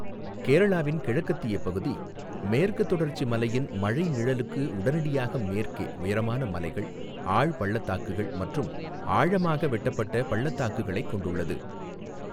கேரளாவின் கிழக்கத்திய பகுதி, மேற்குத் தொடர்ச்சி மலையின் மழை நிழலுக்கு உடனடியாக மேற்கே உயரமான மலைகள், ஆழ்பள்ளத்தாக்குகள் மற்றும்ஆழமாக வெட்டப்பட்ட பள்ளத்தாக்குகளைக் கொண்டுள்ளது.